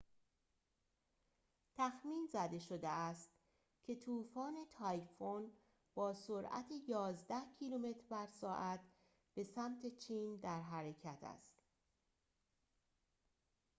تخمین زده شده است که طوفان تایفون با سرعت یازده کیلومتر بر ساعت به سمت چین در حرکت است